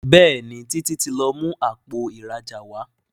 Béèni Títí tí lọ mú Àpò ìrajà wá.